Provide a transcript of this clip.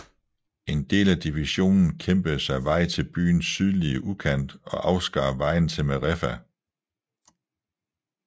En del af divisionen kæmpede sig vej til byens sydlige udkant og afskar vejen til Merefa